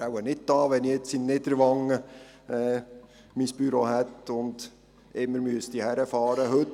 Ich wäre wahrscheinlich nicht da, wenn mein Büro in Niederwangen wäre und ich immer in die Stadt fahren müsste.